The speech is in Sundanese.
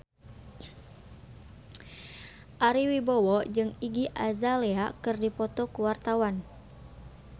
Ari Wibowo jeung Iggy Azalea keur dipoto ku wartawan